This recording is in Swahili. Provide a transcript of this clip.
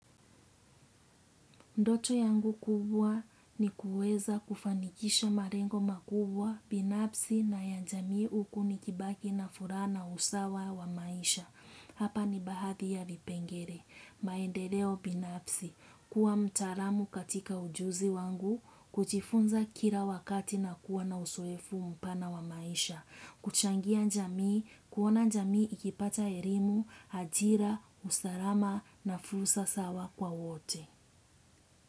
Ndoto yangu kubwa ni kueza kufanikisha marengo makubwa, binafsi na ya jamii huku nikibaki na furahs na usawa wa maisha. Hapa ni bahadhi ya vipengere, maendeleo binafsi, kuwa mtaalamu katika ujuzi wangu, kujifunza kila wakati na kuwa na usoefu mpana wa maisha, kuchangia njamii, kuona njami ikipata erimu, ajira, usarama na fursa sawa kwa wote.